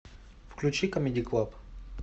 включи камеди клаб